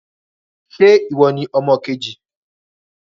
Ṣẹ́ ìwọ ní ọmọ kejì?